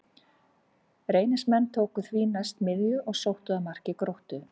Reynismenn tóku því næst miðju og sóttu að marki Gróttu.